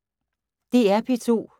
DR P2